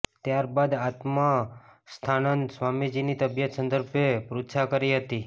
ત્યારબાદ આત્માસ્થાનંદ સ્વામીજીની તબિયત સંદર્ભે પૃચ્છા કરી હતી